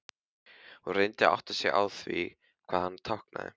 Hún reyndi að átta sig á því hvað hann táknaði.